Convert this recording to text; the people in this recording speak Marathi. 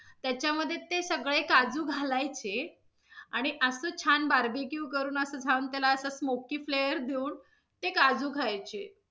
त्याच्यामध्ये ते सगळे काजू घालायचे, आणि अस छान barbeque करून अस छान smoky flare देऊन ते काजू खायचे.